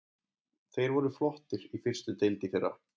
Þeir voru flottir í fyrstu deild í fyrra.